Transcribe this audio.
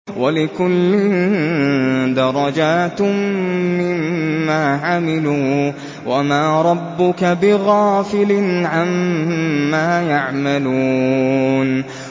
وَلِكُلٍّ دَرَجَاتٌ مِّمَّا عَمِلُوا ۚ وَمَا رَبُّكَ بِغَافِلٍ عَمَّا يَعْمَلُونَ